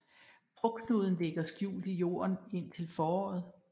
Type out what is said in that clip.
Frugtknuden ligger skjult i jorden indtil foråret